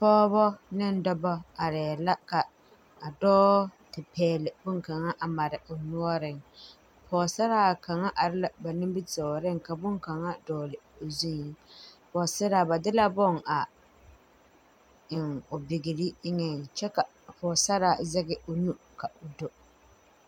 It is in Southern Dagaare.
Pɔɔbɔ ne dɔbɔ areɛɛ la ka a dɔɔ te pɛɛle bonkaŋa a mare o noɔreŋ pɔɔsaraa kaŋa are la ba nimitooreŋ ka bonkaŋa dɔɔle o zuiŋ pɔɔsaraa ba de bon a eŋ o bigre eŋɛŋ kyɛ ka a pɔɔsaraa zege o nu ka o do.